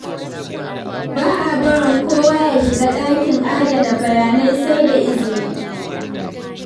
Ba a barin kowa ya shiga ɗakin adana bayanai, sai da izini.